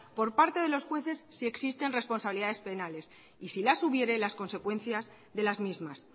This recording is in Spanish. por parte de los jueces si existen responsabilidades penales y si las hubiere las consecuencias de las mismas